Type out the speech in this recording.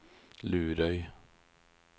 Lurøy